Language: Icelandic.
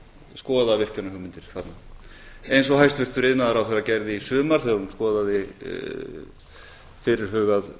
skoða virkjunarhugmyndir þarna eins og hæstvirtur iðnaðarráðherra gerði í sumar þegar hún skoðaði fyrirhugað